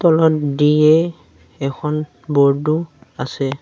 তলত ডি_এ এখন ব'ৰ্ড ও আছে।